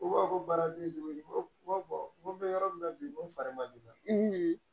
U b'a fɔ ko baaratigi de bɛ n ko n ko bɛ yɔrɔ min na bi n ko fa ma don